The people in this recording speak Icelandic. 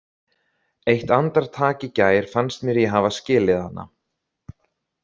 Eitt andartak í gær fannst mér ég hafa skilið hana.